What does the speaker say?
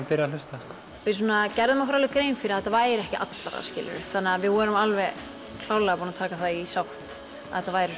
byrja að hlusta við gerðum okkur alveg grein fyrir að þetta væri ekki allra þannig að við vorum klárlega búin að taka það í sátt að þetta væri